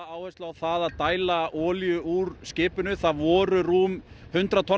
áherslu á að dæla olíu úr skipinu það voru rúm hundrað tonn